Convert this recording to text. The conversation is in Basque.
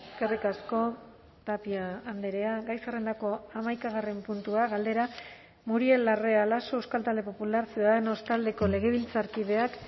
eskerrik asko tapia andrea gai zerrendako hamaikagarren puntua galdera muriel larrea laso euskal talde popular ciudadanos taldeko legebiltzarkideak